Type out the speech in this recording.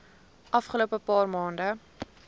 afgelope paar maande